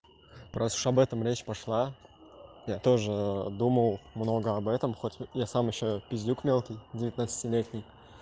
прошу об этом речь пошла я тоже думал много об этом хоть я сам ещё пиздюк мелкий девятнадцатилетний